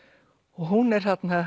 hún er þarna